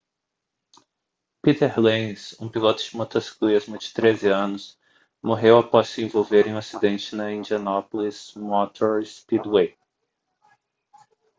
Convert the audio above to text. peter lenz um piloto de motociclismo de 13 anos morreu após se envolver em um acidente no indianapolis motor speedway